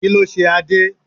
Kí ló ṣe Adé?